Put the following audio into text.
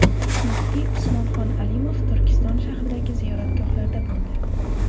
Muftiy Usmonxon Alimov Turkiston shahridagi ziyoratgohlarda bo‘ldi.